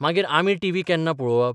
मागीर आमी टीव्ही केन्ना पळोवप?